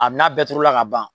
A bi n'a bɛɛ turu la ka ban